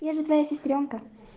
я же твоя сестрёнка